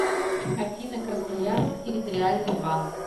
афина красноярск территориальный банк